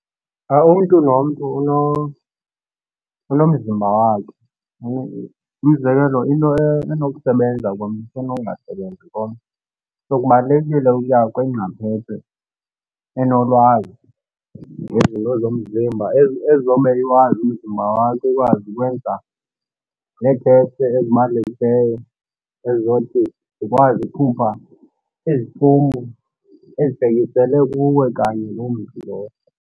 Umntu nomntu unomzimba wakhe. Umzekelo into enokusebenza komnye ise nokungasebenzi komnye. So kubalulekile uya kwingcaphephe enolwazi ngezinto zomzimba umzimba wakho, ikwazi ukwenza neethesti ezibalulekileyo ezizothi zikwazi ukukhupha iziphumo ezibhekisele kuwe kanye loo mntu lowo.